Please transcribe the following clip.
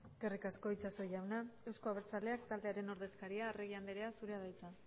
eskerrik asko itxaso jauna euzko abertzaleak taldearen ordezkaria arregi andrea zurea da hitza